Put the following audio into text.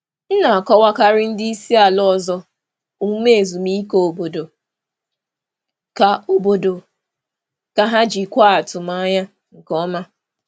M na-akọwakarị ndị isi ala ọzọ omume ezumike obodo ka obodo ka ha jikwaa atụmanya nke ọma.